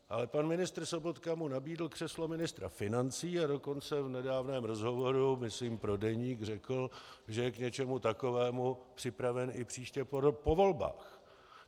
Ale pan ministr Sobotka mu nabídl křeslo ministra financí, a dokonce v nedávném rozhovoru myslím pro Deník řekl, že je k něčemu takovému připraven i příště po volbách.